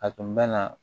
A tun bɛ na